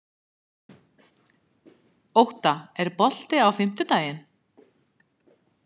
Ótta, er bolti á fimmtudaginn?